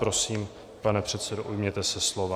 Prosím, pane předsedo, ujměte se slova.